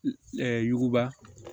Ɛɛ yuguba